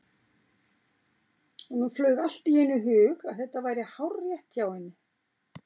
Honum flaug allt í einu í hug að þetta væri hárrétt hjá henni.